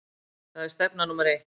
Það er stefna númer eitt.